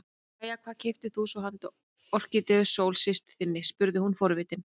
Jæja, hvað keyptir þú svo handa Orkídeu Sól systur þinni spurði hún forvitin.